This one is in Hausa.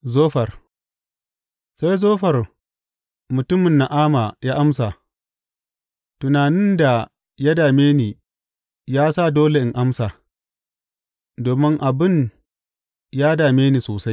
Zofar Sai Zofar mutumin Na’ama ya amsa, Tunanin da ya dame ni ya sa dole in amsa domin abin ya dame ni sosai.